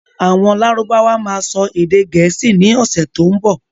Àwọn lárúbáwá máa sọ èdè gẹ̀ẹ́sì ni ọ̀sẹ̀ tó ń bọ̀